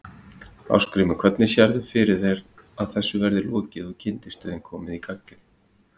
Ásgrímur: Hvenær sérðu fyrir þér að þessu verði lokið og kyndistöðin komin í gagnið?